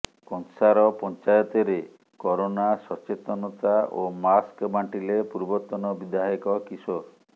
କଂସାର ପଂଚାୟତରେ କରୋନା ସଚେତନତା ଓ ମାସ୍କ ବାଂଟିଲେ ପୂର୍ବତନ ବିଧାୟକ କିଶୋର